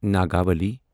Nagavali